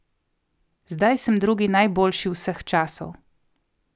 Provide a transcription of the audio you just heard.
Zdaj sem drugi najboljši vseh časov.